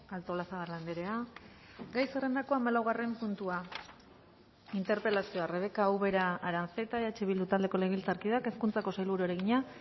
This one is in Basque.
artolazabal andrea gai zerrendako hamalaugarren puntua interpelazioa rebeka ubera aranzeta eh bildu taldeko legebiltzarkideak hezkuntzako sailburuari egina